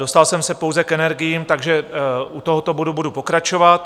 Dostal jsem se pouze k energiím, takže u tohoto bodu budu pokračovat.